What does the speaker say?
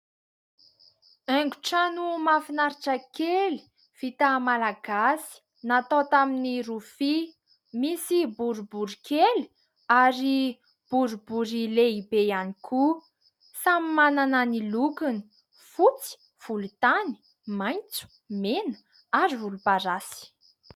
Haingon-trano mahafinaritra kely, vita malagasy natao tamin'ny rofia, misy boribory kely ary boribory lehibe ihany koa; samy manana ny lokony : fotsy, volontany, maitso, mena ary volomparasy.